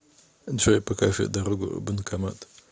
джой покажи дорогу в банкомат